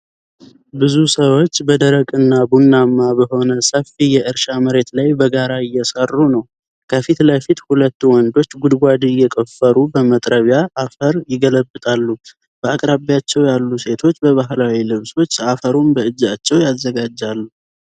ብዙ ሰዎች በደረቅና ቡናማ በሆነ ሰፊ የእርሻ መሬት ላይ በጋራ እየሰሩ ነው። ከፊት ለፊት ሁለት ወንዶች ጉድጓድ እየቆፈሩ በመጥረቢያ አፈር ይገለብጣሉ። በአቅራቢያቸው ያሉ ሴቶች በባህላዊ ልብሶች አፈሩን በእጃቸው ያዘጋጃሉ።